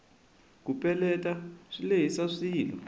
ku peletela swi lehisa swilo